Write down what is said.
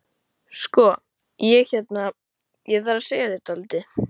Sko. ég hérna. ég þarf að segja þér dálítið.